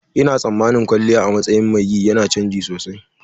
Ina tsammanin kwalliya a matsayin mai yi yana canji sosai.